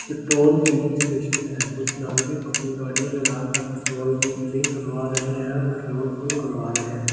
petrol filling station है कुछ नागरिक अपनी गाड़ीया लगा कर पेट्रोल की फिलिंग करवा रहे है पेट्रोल फुल करवा रहे है बारकोड --